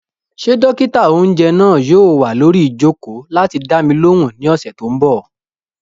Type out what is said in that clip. Ṣé dókítà-oúnjẹ náà yóò wà lórí ìjòkó láti dá mi lóhùn ní ọ̀sẹ̀ tó n bọ̀?